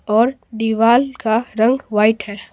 और दीवाल का रंग वाइट है।